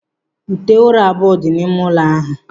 Ute ụra abụọ dị n'ime ụlọ ahụ.